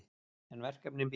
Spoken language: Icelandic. En verkefnin bíða.